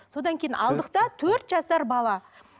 содан кейін алдық та төрт жасар бала